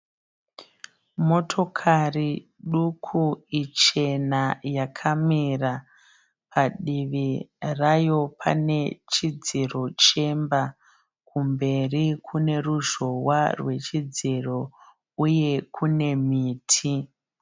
Motokari duku ichena yakamira. Padivi rayo pane chidziro chemba. Kumberi kune ruzhowa rwechidziro uye kune miti.